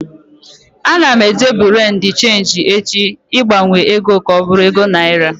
Ana m eje bureau de cheenji echi ịgbanwe egoa ka ọ bụrụ ego naira